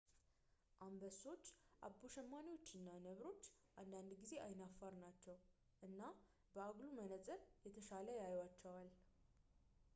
አንበሶች አቦ ሸማኔዎች እና ነብሮች አንዳንድ ጊዜ አይናፋር ናቸው እና በአጉሉ መነጽር የተሻለ ያዩአቸዋል